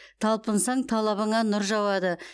талпынсаң талабыңа нұр жауады